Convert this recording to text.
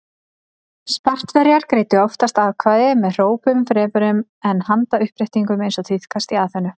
Spartverjar greiddu oftast atkvæði með hrópum fremur en með handauppréttingum eins og tíðkaðist í Aþenu.